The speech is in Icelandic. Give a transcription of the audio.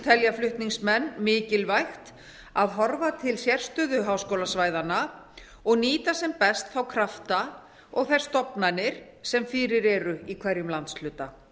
telja flutningsmenn mikilvægt að horfa til sérstöðu háskólasvæðanna og nýta sem best þá krafta og þær stofnanir sem fyrir eru í hverjum landshluta